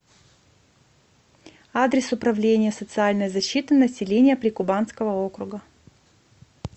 адрес управление социальной защиты населения прикубанского округа